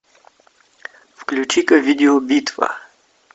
включи ка видео битва